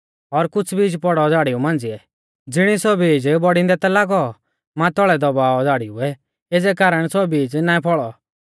और कुछ़ बीज पौड़ौ झ़ाड़िऊ मांझ़िऐ ज़िणी सौ बीज बौड़िंदै लागौ मातौल़ै दबाऔ झ़ाड़िउऐ एज़ै कारण सौ बीज नाईं फौल़ौ